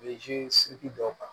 siki dɔw kan